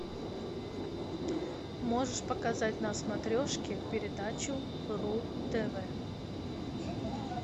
можешь показать на смотрешке передачу ру тв